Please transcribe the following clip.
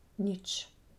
Nič.